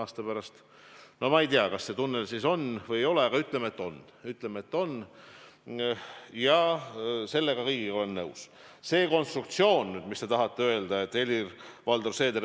Taas natuke nalja tehes, aga samas tõsiselt: enne kriisi oli meil neljarajaliste teede planeerimiseks 4 miljonit ehk piltlikult öeldes, nagu me elaksime riigis, kus saaks iga raja jaoks ühe miljoniga tee ära planeerida, meil ongi üks tee.